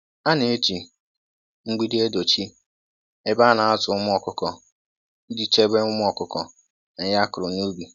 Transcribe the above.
A na-eji mgbidi edochi ebe ana azụ ụmụ ọkụkọ iji chebe ụmụ ọkụkọ na ihe akụrụ n'ubi.